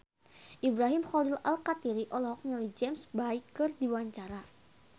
Ibrahim Khalil Alkatiri olohok ningali James Bay keur diwawancara